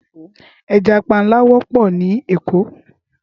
Éjà pànlá wòpò ni Ékó